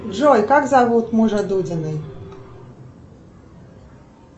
джой как зовут мужа дудиной